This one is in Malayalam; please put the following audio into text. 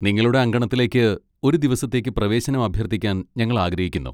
നിങ്ങളുടെ അങ്കണത്തിലേക്ക് ഒരു ദിവസത്തേക്ക് പ്രവേശനം അഭ്യർത്ഥിക്കാൻ ഞങ്ങൾ ആഗ്രഹിക്കുന്നു.